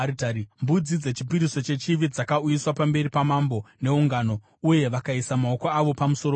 Mbudzi dzechipiriso chechivi dzakauyiswa pamberi pamambo neungano, uye vakaisa maoko avo pamusoro padzo.